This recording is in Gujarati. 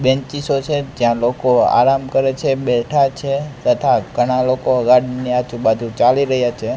બેંચીસો છે ત્યાં લોકો આરામ કરે છે બેઠા છે તથા ઘણા લોકો ગાડીની આજુ બાજુ ચાલી રહ્યા છે.